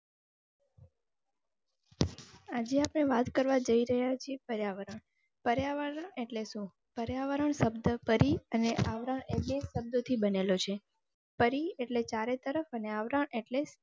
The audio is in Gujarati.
આજે આપણે વાત કરવા જઈ રહ્યા છીએ પર્યાવરણ પર્યાવરણ એટલે શુ? પર્યાવરણ શબ્દ પરી અને આવરણ એટલે શબ્દ થી બનેલું છે પરી એટલે ચારે તરફ અને આવરણ એટલે.